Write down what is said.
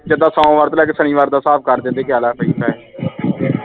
ਜਿੱਡਾ ਸੋਮਵਾਰ ਤੋਂ ਲੈਕੇ ਸ਼ਨੀਵਾਰ ਦਾ ਹਿਸਾਬ ਕਰ ਦਿੰਦੇ ਕੇ ਆਹ ਲੈ ਬਈ ਪੈਸੇ